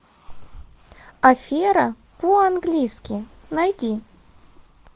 афера по английски найди